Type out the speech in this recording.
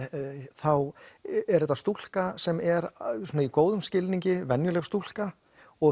þá er þetta stúlka sem er í góðum skilningi venjuleg stúlka og